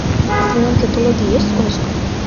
в твоем каталоге есть оскар